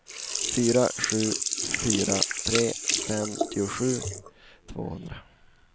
fyra sju fyra tre femtiosju tvåhundra